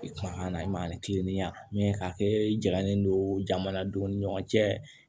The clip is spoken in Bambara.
Kumakan na i ma ani kiliniya jagalen don jamanadenw ni ɲɔgɔn cɛ